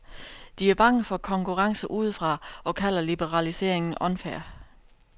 De er bange for konkurrence udefra og kalder liberaliseringen unfair.